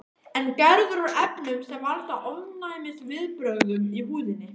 Er gerður úr efnum sem valda ofnæmisviðbrögðum í húðinni.